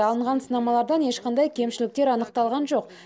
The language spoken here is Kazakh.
алынған сынамалардан ешқандай кемшіліктер анықталған жоқ